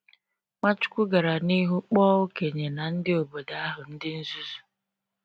Nwachukwu gara n’ihu kpọọ okenye na ndị obodo ahụ ndị nzuzu.